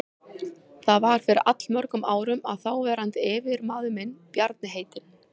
Það var fyrir allmörgum árum að þáverandi yfirmaður minn, Bjarni heitinn